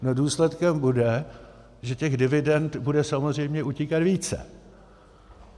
Důsledkem bude, že těch dividend bude samozřejmě utíkat více.